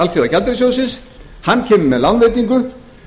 alþjóðagjaldeyrissjóðsins hann kemur með lánveitingu